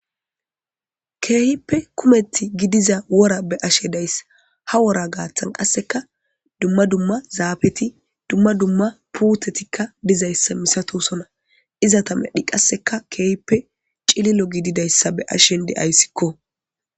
keehippe kumeti gidiza wora be ashe dayssa ha wora gaaththan qasseka dumma dumma zaafeti dumma dumma puutetikka dizayssa misato sona izata medhi qasseka keehippe cililo gididayssa be ashen deayssikko